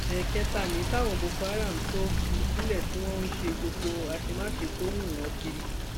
ẹẹkẹta ni tàwọn boko haram tó fi sílẹ tí wọn ń ṣe gbogbo àṣemáṣe tó wú wọn kiri